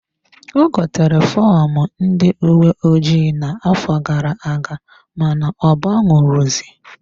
Ọ gotere fọmụ ndị uwe ojii na-afo gara-aga mana ọ banwu ro zi.